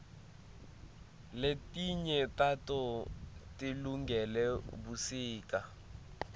letinye tato tilungele busika